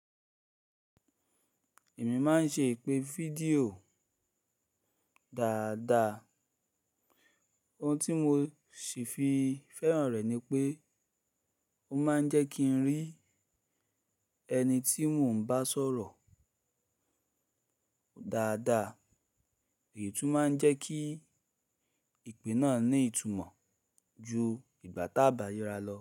Èmi máa ń ṣe ìpè fídíò dáadáa. Ohun tí mo sì fi fẹ́ràn rẹ̀ ni pé ó máa ń jẹ́ kí n rí ẹni tí mo ń bá sọ̀rọ̀ dáadáa èyí tún máa ń jẹ́ kí ìpè náà ní ìtumọ̀ ju ìgbà tá bá rira lọ.